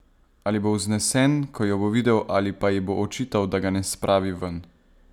Ali bo vznesen, ko jo bo videl, ali pa ji bo očital, da ga ne spravi ven?